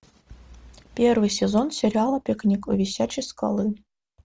первый сезон сериала пикник у висячей скалы